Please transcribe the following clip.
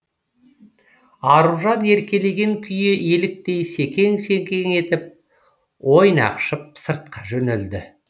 аружан еркелеген күйі еліктей секең секең етіп ойнақшып сыртқа жөнелді